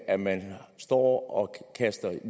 at man står og kaster